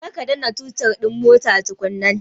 Kar ka danna totir din mota tukunna!